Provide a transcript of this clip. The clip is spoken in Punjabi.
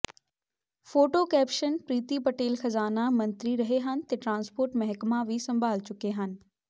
ਫੋਟੋ ਕੈਪਸ਼ਨ ਪ੍ਰੀਤੀ ਪਟੇਲ ਖਜ਼ਾਨਾ ਮੰਤਰੀ ਰਹੇ ਹਨ ਤੇ ਟਰਾਂਸਪੋਰਟ ਮਹਿਕਮਾ ਵੀ ਸੰਭਾਲ ਚੁੱਕੇ ਹਨ